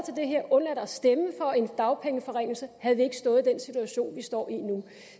det her undladt at stemme for en dagpengeforringelse havde vi ikke stået i den situation vi står i nu